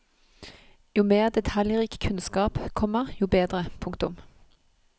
Jo mer detaljrik kunnskap, komma jo bedre. punktum